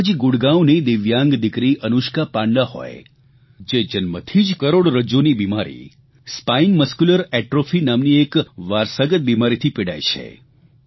કે પછી ગુડગાંવની દિવ્યાંગ દિકરી અનુષ્કા પાંડા હોય જે જન્મથી જ કરોડરજ્જુની બિમારી સ્પાઇન મસ્ક્યુલર એટ્રોફી નામની એક વારસાગત બિમારીથી પીડાય છે